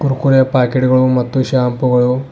Kurkure packet ಗಳು ಮತ್ತು shampoo ಗಳು --